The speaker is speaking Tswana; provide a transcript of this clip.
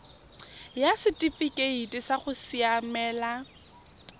ya setifikeite sa go siamela